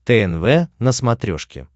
тнв на смотрешке